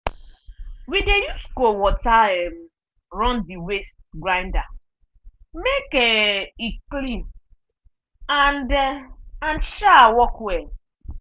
we dey use cold water um run the waste grinder make um e clean and um and um work well.